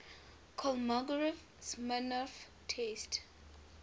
kolmogorov smirnov test